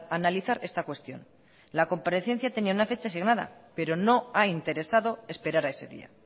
analizar esta cuestión la comparecencia tenía una fecha asignada pero no ha interesado esperar a ese día